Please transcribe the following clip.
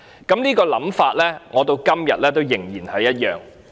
"我這種想法直至今天仍然一樣。